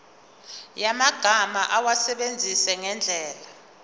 yamagama awasebenzise ngendlela